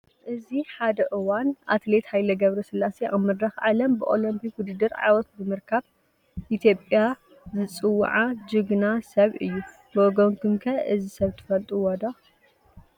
እዚ አብ ሐደ እዋን አትሌት ሃይለ ገ/ስላሴ አብ መድረኽ ዓለም ብኦለምፒክ ውድድር ዓወት ብምርካብ ኢትዮጵያ ዝፅውዓ ጅግና ሰብ እዩ። ብወገንኩም ከ እዚ ሰብ ትፈልጥዎ ዶ?